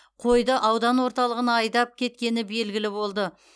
қойды аудан орталығына айдап кеткені белгілі болды